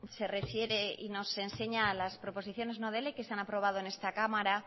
se refiere y nos enseña las proposiciones no de ley que se han aprobado en esta cámara